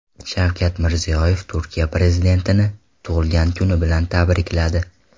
Shavkat Mirziyoyev Turkiya prezidentini tug‘ilgan kuni bilan tabrikladi.